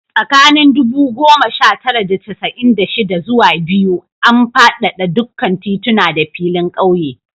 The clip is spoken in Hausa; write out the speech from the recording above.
Tsakanin ɗubu goma sha tara da casa'in da shida zuwa biyu, an fadada dukkan tituna da filin ƙauye